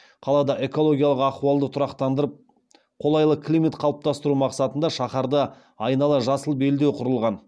қаладағы экологиялық ахуалды тұрақтандырып қолайлы климат қалыптастыру мақсатында шаһарды айнала жасыл белдеу құрылған